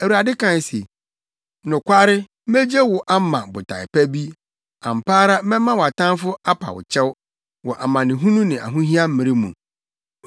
Awurade kae se, “Nokware megye wo ama botae pa bi; ampa ara mɛma wʼatamfo apa wo kyɛw wɔ amanehunu ne ahohia mmere mu.